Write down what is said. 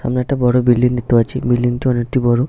সামনে একটা বড় বিল্ডিং দেখতে পাচ্ছি বিল্ডিং টা অনেকটি বড়।